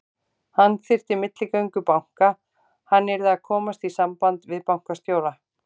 Hann þyrfti milligöngu banka, hann yrði að komast í samband við bankastjóra.